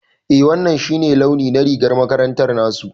Eh wannan shi ne launi na rigar makaranta nasu.